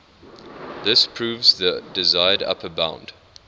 this proves the desired upper bound